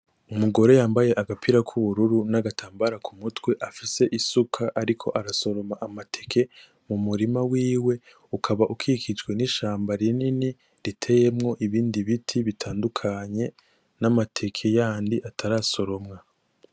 Umugore yambaye agapira kubururu n’agatambara kumutwe afise isuka ariko arasoroma amateke mu murima wiwe ukaba ukikijwe n’ishamba rinini riteyemo ibindi biti bitandukanye n’amateke yandi atarasoromwa.